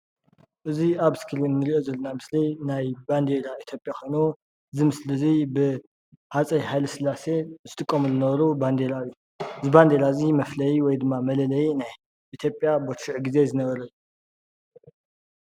እዚ ኣብ እስክሪን ንሪኦ ዘለና ምስሊ ናይ ባንዴራ ኢትዮጵያ ኮይኑ እዚ ምስሊ እዚ ብሃፀይ ሃይለስላሴ ዝጥቀሙሉ ዝነበሩ ባንዴራ እዩ፡፡ እዚ ባንዲራ እዚ መፍለዪ ወይ ድማ መለለዪ ናይ ኢትዮጵያ በዚ ሽዑ ግዜ ዝነበረ እዩ፡፡